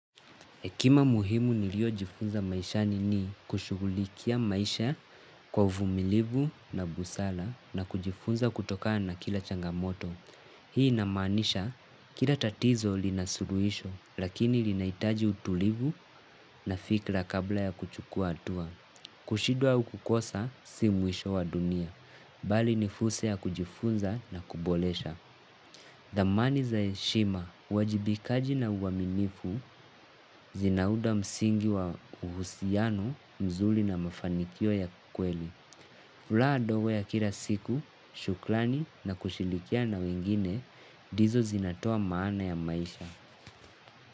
Hekima muhimu nilio jifunza maishani ni kushughulikia maisha kwa uvumilivu na busara na kujifunza kutokana na kila changamoto. Hii inamaanisha kila tatizo linasuluhisho lakini linahitaji utulivu na fikra kabla ya kuchukua hatua. Kushindwa au kukosa si mwisho wa dunia. Bali nifursa ya kujifunza na kuboresha. Dhamani za heshima, uwajibikaji na uaminifu, zinaunda msingi wa uhusiano, mzuri na mafanikio ya kweli. Furaha ndogo ya kila siku, shukrani na kushirikiana na wengine, ndizo zinatoa maana ya maisha.